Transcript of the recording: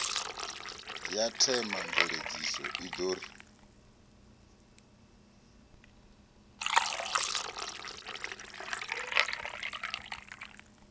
ya themamveledziso i ḓo ri